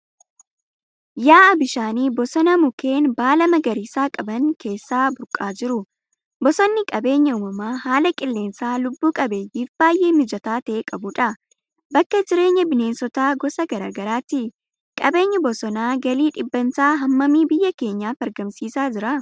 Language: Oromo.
Yaa'a bishaanii bosona mukeen baala magariisa qaban keessaa burqaa jiru. Bosonni qabeenya uumamaa haala qilleensaa lubbuu qabeeyyiif baay'ee mijataa ta'e qabudha. Bakka jireenya bineensota gosa garaa garaati. Qabeenyi bosonaa galii dhibbantaa hammamii biyya keenyaaf argamsiisaa jira?